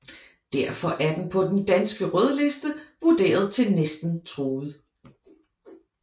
Derfor er den på Den danske Rødliste vurderet til Næsten truet